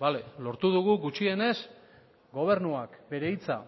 bale lortu dugu gutxienez gobernuak bere hitza